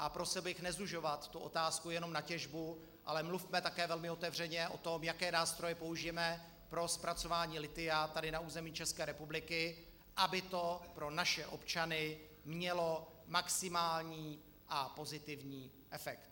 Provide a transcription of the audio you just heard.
A prosil bych nezužovat tu otázku jenom na těžbu, ale mluvme také velmi otevřeně o tom, jaké nástroje použijeme pro zpracování lithia tady na území České republiky, aby to pro naše občany mělo maximální a pozitivní efekt.